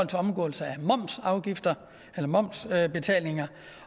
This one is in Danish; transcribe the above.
til omgåelse af momsbetalinger